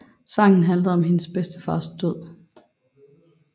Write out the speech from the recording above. Sangen handlede om hendes bedstefars død